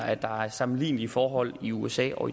at der er sammenlignelige forhold i usa og